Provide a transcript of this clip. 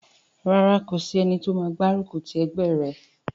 Rárá, kò sí ẹni tó máa gbárùkù ti ẹgbẹ́ rẹ̀